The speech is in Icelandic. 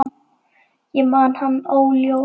Ég man hann óljóst.